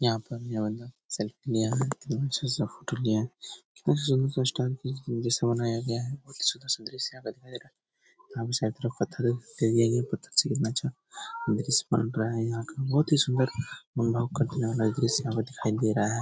यहाँ पर ये वाला सेल्फी लिया है कितना अच्छा-सा फोटो लिया है बहुत ही सुन्दर-सा बनाया गया है बहुत ही सुन्दर-सा दृश्य यहाँ पर है दृश्य बन रहा है यहाँ का बहुत सुंदर दृश्य यहाँ पे दिखाई दे रहा है ।